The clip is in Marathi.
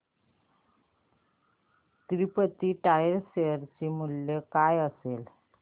तिरूपती टायर्स शेअर चे मूल्य काय असेल